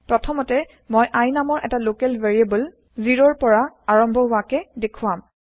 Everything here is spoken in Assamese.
প্ৰথমতে মই i নামৰ এটা লোকেল ভেৰিএবল ০ ৰ পৰা আৰম্ভ হোৱাকে দেখুৱাম